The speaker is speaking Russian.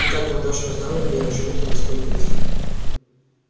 и так мы точно узнали где они живут и сколько их